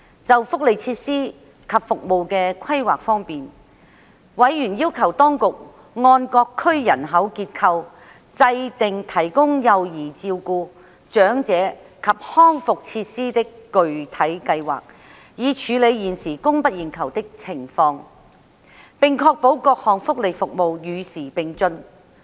就福利設施及服務的規劃方面，委員要求當局按各區人口結構制訂提供幼兒照顧、長者及康復設施的具體計劃，以處理現時供不應求的情況，並確保各項福利服務與時並進。